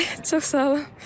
Bəli, çox sağ olun.